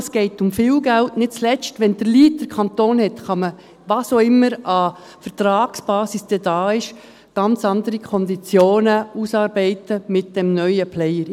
Es geht um viel Geld und nicht zuletzt: Wenn der Kanton den Lead hat, kann man – was auch immer dann als Vertragsbasis vorhanden ist – ganz andere Konditionen mit dem neuen Player ausarbeiten.